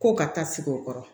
Ko ka taa sigi o kɔrɔ